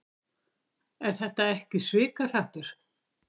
Er þetta ekki svikahrappur?